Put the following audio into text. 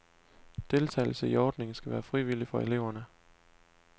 Deltagelse i ordningen skal være frivillig for eleverne.